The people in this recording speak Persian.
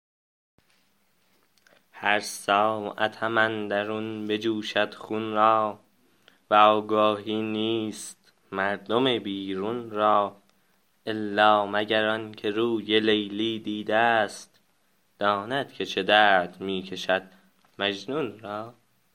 هر ساعتم اندرون بجوشد خون را وآگاهی نیست مردم بیرون را الا مگر آن که روی لیلی دیده ست داند که چه درد می کشد مجنون را